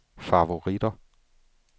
favoritter